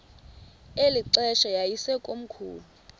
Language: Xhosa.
eli xesha yayisekomkhulu